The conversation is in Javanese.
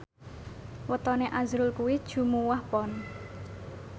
wetone azrul kuwi Jumuwah Pon